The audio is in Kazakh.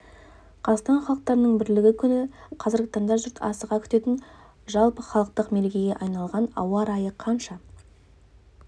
қазақстан халықтарының бірлігі күні қазіргі таңда жұрт асыға күтетін жалпыхалықтық мерекеге айналған ауа райы қанша